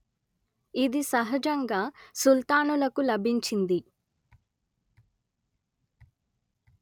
ఇది సహజంగా సుల్తానులకు లభించింది